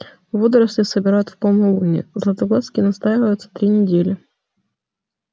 водоросли собирают в полнолуние златоглазки настаиваются три недели